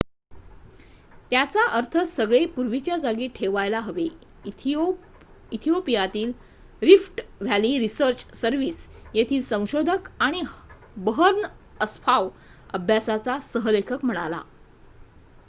त्याचा अर्थ सगळे पूर्वीच्या जागी ठेवायला हवे इथिओपियातील रिफ्ट व्हॅली रिसर्च सर्व्हिस येथील संशोधक आणि बर्हन अस्फाव अभ्यासाचा सह लेखक म्हणाला